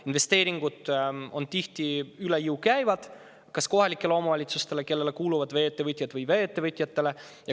Investeeringud käivad tihti üle jõu kas kohalikele omavalitsustele, kellele kuuluvad vee-ettevõtted, või vee-ettevõtjatele.